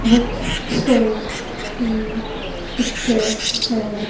Books store की picture है।